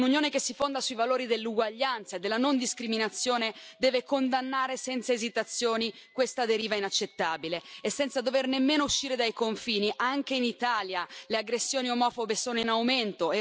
Un'Unione che si fonda sui valori dell'uguaglianza e della non discriminazione deve condannare senza esitazioni questa deriva inaccettabile e senza dover nemmeno uscire dai confini, anche in Italia le aggressioni omofobe sono in aumento.